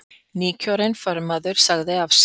Nýkjörinn formaður sagði af sér